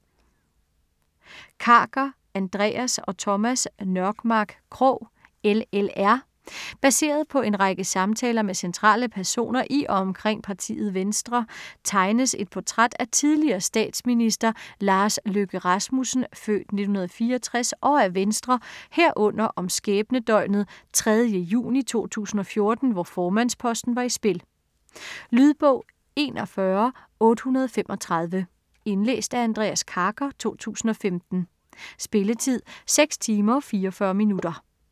Karker, Andreas og Thomas Nørmark Krog: LLR Baseret på en række samtaler med centrale personer i og omkring partiet Venstre tegnes et portræt af tidligere statsminister Lars Løkke Rasmussen (f. 1964) og af Venstre, herunder om skæbnedøgnet 3. juni 2014, hvor formandsposten var i spil. Lydbog 41835 Indlæst af Andreas Karker, 2015. Spilletid: 6 timer, 44 minutter.